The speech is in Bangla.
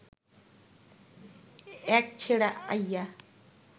এক ছেড়া আইয়া